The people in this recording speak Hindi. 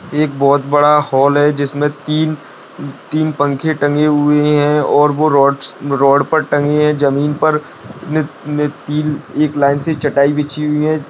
एक बहुत बड़ा हॉल है जिसमें तीन-तीन पंखे टंगी हुई है और वह रॉड रॉड पर पर टंकी है जमीन पर नि-ति-न एक लाइन से चटाई बिछी हुई है।